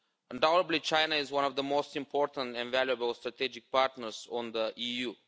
Undoubtedly China is one of the most important and valuable strategic partners of the EU.